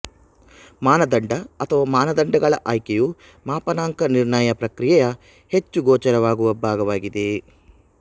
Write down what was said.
ಮಾನದಂಡ ಅಥವಾ ಮಾನದಂಡಗಳ ಆಯ್ಕೆಯು ಮಾಪನಾಂಕ ನಿರ್ಣಯ ಪ್ರಕ್ರಿಯೆಯ ಹೆಚ್ಚು ಗೋಚರವಾಗುವ ಭಾಗವಾಗಿದೆ